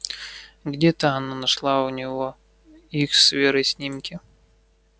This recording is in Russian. где-то она нашла у него их с верой снимки